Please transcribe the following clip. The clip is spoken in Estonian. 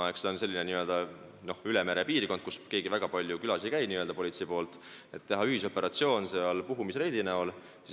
See on selline n-ö ülemerepiirkond, kus politseist keegi väga palju külas ei käi, et teha seal ühisoperatsioon, puhumisreid.